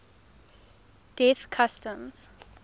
death customs